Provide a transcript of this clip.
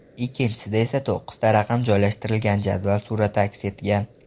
Ikkinchisida esa to‘qqizta raqam joylashtirilgan jadval surati aks etgan.